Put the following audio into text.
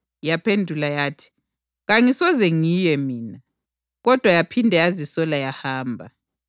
Yaphendula yathi, ‘Kangisoze ngiye mina,’ kodwa yaphinde yazisola yahamba.